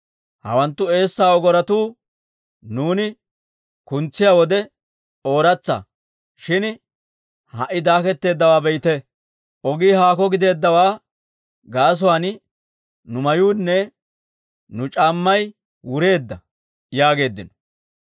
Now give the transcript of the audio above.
Hawanttu eessaa ogorotuu nuuni kuntsiyaa wode ooratsa; shin ha"i daaketteeddawaa be'ite! Ogii haakko giddeeddawaa gaasuwaan, nu mayuunne nu c'aammay wureedda» yaageeddino.